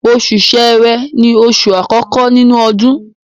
Oṣù Ṣẹ́rẹ́ ni oṣù àkọ́kọ́ nínú ọdún.